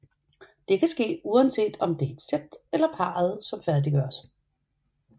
Det kan ske uanset om det er et sæt eller parret som færdiggøres